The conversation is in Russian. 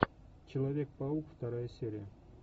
человек паук вторая серия